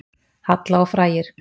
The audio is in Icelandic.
Halla og frægir